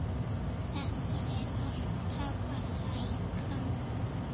Þetta er alltaf að lækka.